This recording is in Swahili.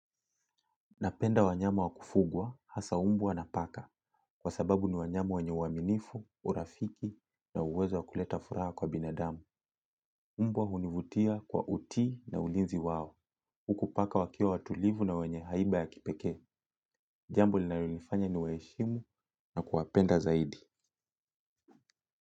Napenda wanyama wakufugwa, hasa umbwa na paka. Kwasababu ni wanyama wenye uaminifu urafiki na uwezo wa kuleta furaha kwa binadamu. Umbwa univutia kwa utii na ulinzi wao. Huku paka wakiwa watulivu na wenye haiba ya kipeke. Jambo linayo nifanya ni waheshimu na kuwapenda zaidi.